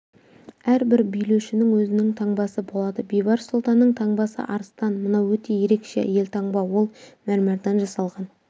әрбір билеушінің өзінің таңбасы болады бейбарыс сұлтанның таңбасы арыстан мынау өте ерекше елтаңба ол мәрмәрден жасалған